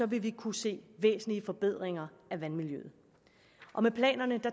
vil vi kunne se væsentlige forbedringer af vandmiljøet med planerne